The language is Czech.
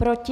Proti?